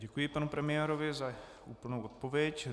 Děkuji panu premiérovi za úplnou odpověď.